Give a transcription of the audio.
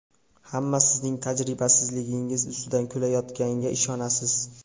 Hamma sizning tajribasizligingiz ustidan kulayotganiga ishonasiz.